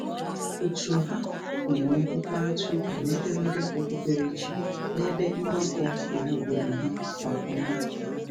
Òtù ha na-enwe mkparịtaụka n'ederede okpukperechi n'ebe mgbakọ ọhaobodo ha kwa ọnwa.